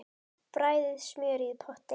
Bræðið smjörið í potti.